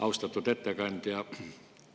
Austatud ettekandja!